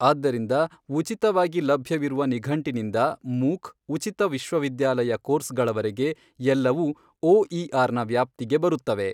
ಆದ್ದರಿಂದ ಉಚಿತವಾಗಿ ಲಭ್ಯವಿರುವ ನಿಘಂಟಿನಿಂದ ಮೂಕ್, ಉಚಿತ ವಿಶ್ವವಿದ್ಯಾಲಯ ಕೋರ್ಸ್ ಗಳವರೆಗೆ ಎಲ್ಲವೂ ಓಇಆರ್ ನ ವ್ಯಾಪ್ತಿಗೆ ಬರುತ್ತವೆ.